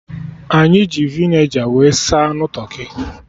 Anyị ji Vinegar wee saa anụ tụrkị